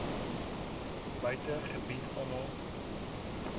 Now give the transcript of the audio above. buite gebied almal